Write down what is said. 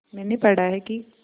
मैंने पढ़ा है कि